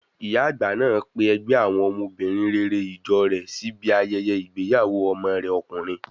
Ìyá àgbà náà pe ẹgbẹ́ àwọn obìnrin rere ìjọ rẹ̀ sí ibi ayẹyẹ ìgbéyàwó ọmọ rẹ̀ ọkùnrin.